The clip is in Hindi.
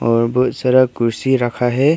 और बहुत सारा कुर्सी रखा है।